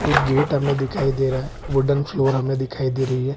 एक गेट हमें दिखाई दे रहा है वूडन फ्लोर हमें दिखाई दे रही है ।